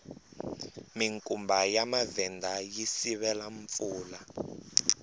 minkumba ya mavhenda yi sivela mpfula